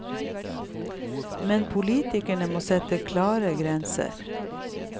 Men politikerne må sette klare grenser.